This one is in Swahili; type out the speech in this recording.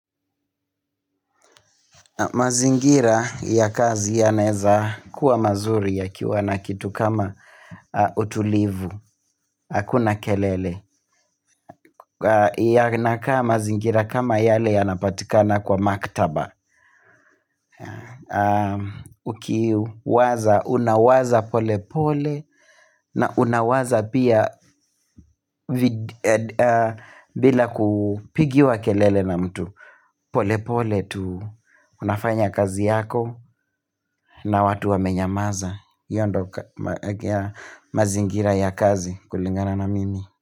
Mazingira ya kazi yanaeza kuwa mazuri yakiwa na kitu kama utulivu, hakuna kelele. Yanakaa mazingira kama yale yanapatikana kwa maktaba. Ukiwaza, unawaza pole pole na unawaza pia bila kupigiwa kelele na mtu. Pole pole tu unafanya kazi yako na watu wamenyamaza hiyo ndio mazingira ya kazi kulingana na mimi.